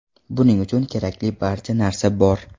Buning uchun kerakli barcha narsa bor.